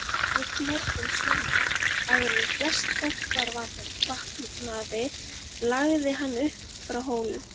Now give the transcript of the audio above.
Einn morgun snemma, áður en flest fólk var vaknaði lagði hann upp frá Hólum.